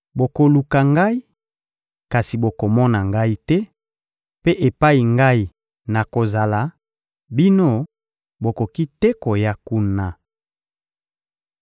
Bokoluka Ngai, kasi bokomona Ngai te; mpe epai Ngai nakozala, bino, bokoki te koya kuna.